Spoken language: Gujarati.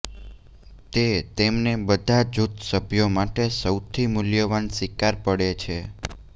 તે તેમને બધા જૂથ સભ્યો માટે સૌથી મૂલ્યવાન શિકાર પડે છે